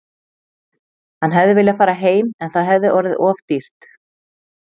Hann hefði viljað fara heim en það hefði orðið of dýrt.